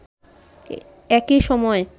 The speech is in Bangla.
একই সময়ে